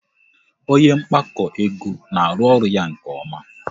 Onye mgbakọ ego na-arụ ya nke ọma